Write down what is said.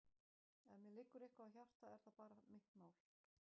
Ef mér liggur eitthvað á hjarta er það bara mitt mál.